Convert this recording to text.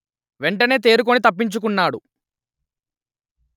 వెంటనే తేరుకొని తప్పించుకున్నాడు